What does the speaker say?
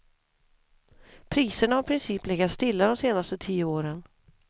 Priserna har i princip legat stilla de senaste tio åren.